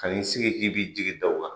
Ka n'i sigi k'i b'i jigi daw kan.